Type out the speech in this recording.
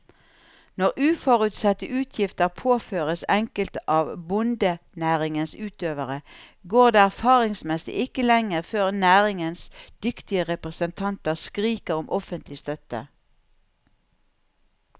Når uforutsette utgifter påføres enkelte av bondenæringens utøvere, går det erfaringsmessig ikke lenge før næringens dyktige representanter skriker om offentlig støtte.